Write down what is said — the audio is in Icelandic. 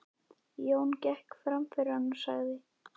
Jón gekk fram fyrir hann og sagði